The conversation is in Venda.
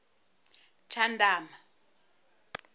tshandama